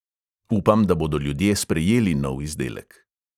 Upam, da bodo ljudje sprejeli nov izdelek.